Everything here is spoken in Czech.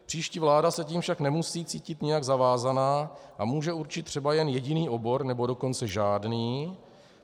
Příští vláda se tím však nemusí cítit nijak zavázána a může určit třeba jen jediný obor, nebo dokonce žádný.